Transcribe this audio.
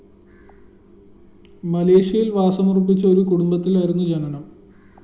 മലേഷ്യയില്‍ വാസമുറപ്പിച്ച ഒരു കുടുംബത്തിലായിരുന്നു ജനനം